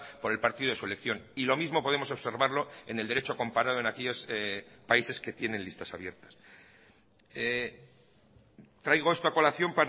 por el partido de su elección y lo mismo podemos observarlo en el derecho comparado en aquellos países que tienen listas abiertas traigo esto a colación